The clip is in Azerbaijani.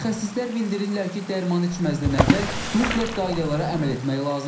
Mütəxəssislər bildirirlər ki, dərman içməzdən əvvəl mütləq qaydalara əməl etmək lazımdır.